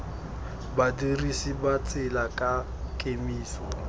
badirisi ba tsela ka kemiso